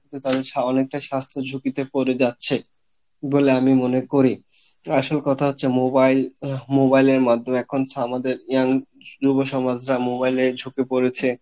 এই কারনে কিন্তু তাদের অনেকটা স্বাস্থ্য ঝুঁকিতে পরে যাচ্ছে, বলে আমি মনে করি, আসল কথা হচ্ছে mobile, mobile এর মাধ্যমে এখন আমাদের হচ্ছে young যুব সমাজ যা mobile এ ঝুঁকে পরেছে,